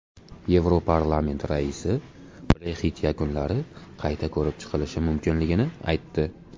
Yevroparlament raisi Brexit yakunlari qayta ko‘rib chiqilishi mumkinligini aytdi.